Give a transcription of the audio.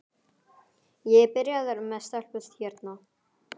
Ég er byrjaður með stelpu hérna.